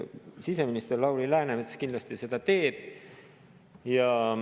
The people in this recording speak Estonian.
Siseminister Lauri Läänemets kindlasti seda teeb.